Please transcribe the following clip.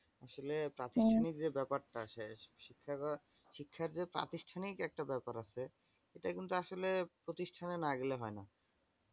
আসলে প্রাতিষ্ঠানিক হম যে ব্যাপারটা শেষ শিক্ষার যে প্রাতিষ্ঠানিক যে একটা ব্যাপার আছে সেটা কিন্তু আসলে প্রতিষ্ঠানে না গেলে হয়না।